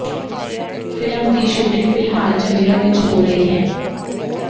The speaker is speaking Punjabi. ਫਿਲਮ ਦੀ ਸ਼ੂਟਿੰਗ ਫਿਲਹਾਲ ਚੰਡੀਗੜ੍ਹ ਵਿੱਚ ਹੋ ਰਹੀ ਹੈ